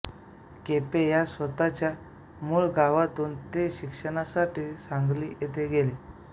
केपे या स्वतःच्या मूळ गावातून ते शिक्षणासाठी सांगली येथे गेले